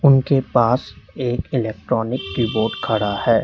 उनके पास एक इलेक्ट्रॉनिक कीबोर्ड खड़ा है।